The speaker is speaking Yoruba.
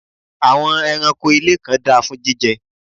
àwọn ẹranko ilé kan da fún jíjẹ